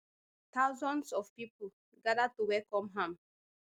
thousands of pipo gada to welcome am